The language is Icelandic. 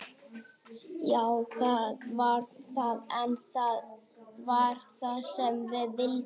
Já það var það, en það var það sem við vildum.